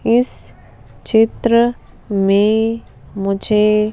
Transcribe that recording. इस चित्र में मुझे--